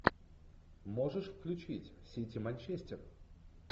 можешь включить сити манчестер